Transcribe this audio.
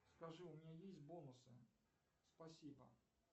скажи у меня есть бонусы спасибо